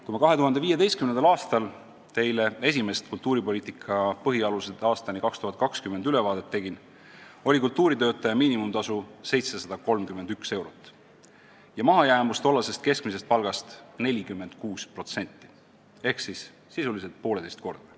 Kui ma 2015. aastal teile esimest "Kultuuripoliitika põhialused aastani 2020" ülevaadet tegin, oli kultuuritöötaja miinimumtasu 731 eurot ja mahajäämus tollasest keskmisest palgast 46% ehk siis sisuliselt pooleteisekordne.